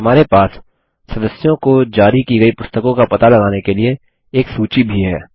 हमारे पास सदस्यों को जारी की गयी पुस्तकों का पता लगाने के लिए एक सूची भी है